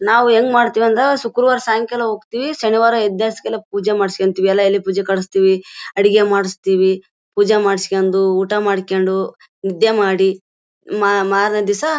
ನಾವು ಹೆಂಗ್ ಮಾಡ್ತಿವಿ ಅಂದ್ರೆ ಶುಕ್ರವಾರ ಸಾಯಿಂಕಾಲ ಹೋಗತೀವಿ ಶನಿವಾರ ಎದ್ದ್ ಹಾಸಿಗೆಲೆ ಪೂಜೆ ಮಾಡಿಸ್ಕೊತೀವಿ. ಎಲ್ಲಾ ಅಲ್ಲಿಗ್ ಪೂಜೆಗೆ ಕಳಸ್ತಿವಿ ಅಡಿಗೆ ಮಾಡಿಸ್ತಿವಿ ಪೂಜೆ ಮಾಡ್ಸ್ಕೊಂಡು ಊಟ ಮಾಡ್ಕೊಂಡು ನಿದ್ದೆ ಮಾಡಿ ಮಾ ಮಾರನೆ ದಿಸಾ--